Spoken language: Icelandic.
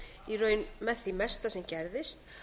í raun með því mesta sem gerðist